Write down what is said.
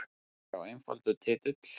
Já einfaldur titill.